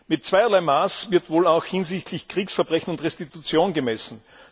Mit zweierlei Maß wird wohl auch hinsichtlich Kriegsverbrechen und Restitution gemessen.